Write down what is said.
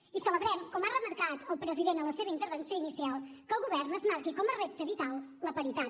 i celebrem com ha remarcat el president en la seva intervenció inicial que el govern es marqui com a repte vital la paritat